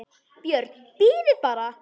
BJÖRN: Bíðið bara!